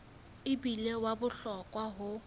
e bile wa bohlokwa ho